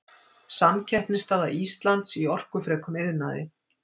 Samkeppnisstaða Íslands í orkufrekum iðnaði.